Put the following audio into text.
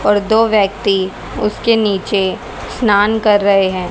और दो व्यक्ति उसके नीचे स्नान कर रहे हैं।